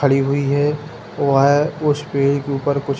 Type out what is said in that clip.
खड़ी हुई है वे उस पेड़ के ऊपर कुछ --